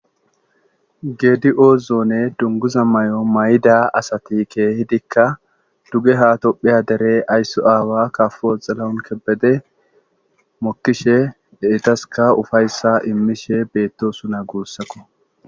geedi oozoone dunguza may7o may7ida asati keehidikka duge hato pheya dere ayssu aawa kafo xelawunkebede mokkishe eetaska ufayssa immishe beettosu na guussakko